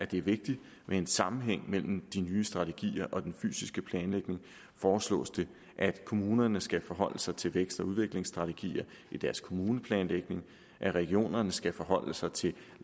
det er vigtigt med en sammenhæng mellem de nye strategier og den fysiske planlægning foreslås det at kommunerne skal forholde sig til vækst og udviklingsstrategier i deres kommuneplanlægning at regionerne skal forholde sig til